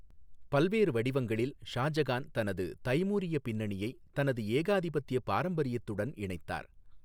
பல்வேறு வடிவங்களில், ஷாஜகான் தனது தைமூரிய பின்னணியை தனது ஏகாதிபத்திய பாரம்பரியத்துடன் இணைத்தார்.